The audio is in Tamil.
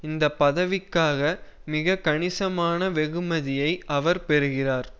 இந்த பதவிக்காக மிக கணிசமாக வெகுமதியை அவர் பெறுகிறார்